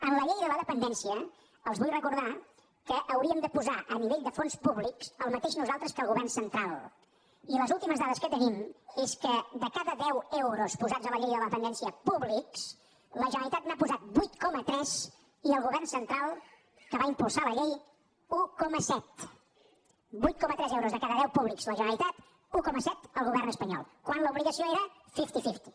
en la llei de la dependència els vull recordar que hauríem de posar a nivell de fons públics el mateix nosaltres que el govern central i les últimes dades que tenim és que de cada deu euros posats a la llei de la dependència públics la generalitat n’ha posat vuit coma tres i el govern central que va impulsar la llei un coma set vuit coma tres euros de cada deu de públics la generalitat un coma set el govern espanyol quan l’obligació era fifty fifty